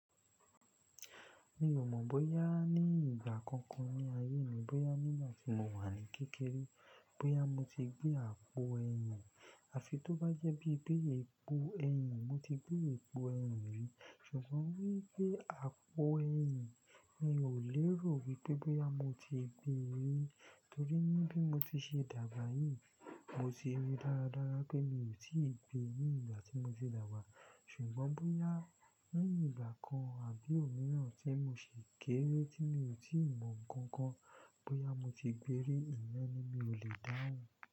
Mi ò mọ̀ bóyá ní ìgbà kankan ní ayé mi, bóyá nígbà tí mo wà ní kékeré, bóyá mo ti gbé àpò ẹyin, à fi tó bá jẹ́ bí gbé èpo ẹyin, mo ti gbé èpo ẹyin rí. Ṣùgbọ́n wípé àpò ẹyin, mi ò lérò wípé bóyá mo ti gbé e rí. Torí níbí mo ti ṣe dàgbà yìí, mo ti ri dáradára pé mi ò tí ì gbé ni ìgbà tí mo ti dàgbà. Ṣùgbọ́n bóyá ní ìgbà kan àbí òmíràn tí mo ṣe kééré tí mi ò tíì mọ̀ nǹkan kan, bóyá mo ti gbéri, ìyẹn ni mi ò lè dáhùn.